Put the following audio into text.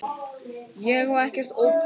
Ég á ekkert ópal